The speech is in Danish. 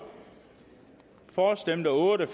for stemte otte